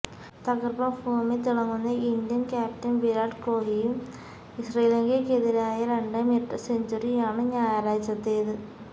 തകർപ്പൻ ഫോമിൽ തിളങ്ങുന്ന ഇന്ത്യൻ ക്യാപ്റ്റൻ വിരാട് കോഹ്ലിയുടെ ശ്രീലങ്കയ്ക്കെതിരായ രണ്ടാം ഇരട്ട സെഞ്ചുറിയാണ് ഞായറാഴ്ചത്തേത്